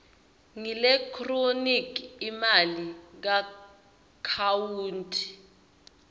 ngeelekthroniki imali kuakhawunti